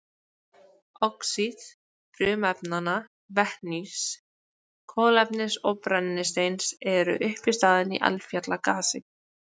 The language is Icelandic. Oxíð frumefnanna vetnis, kolefnis og brennisteins eru uppistaðan í eldfjallagasi.